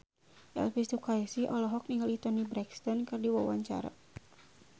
Elvy Sukaesih olohok ningali Toni Brexton keur diwawancara